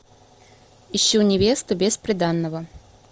ищу невесту без приданного